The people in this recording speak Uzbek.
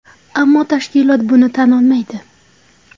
Ammo tashkilot buni tan olmaydi.